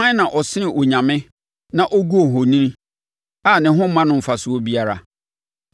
Hwan na ɔsene onyame na ɔgu ohoni, a ne ho mma no mfasoɔ biara?